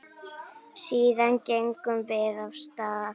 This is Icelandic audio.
Síðan gengum við af stað.